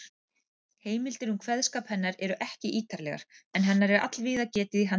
Heimildir um kveðskap hennar eru ekki ítarlegar, en hennar er allvíða getið í handritum.